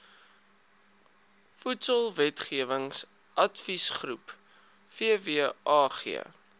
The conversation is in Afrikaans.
voedselwetgewing adviesgroep vwag